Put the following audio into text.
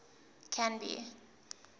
canby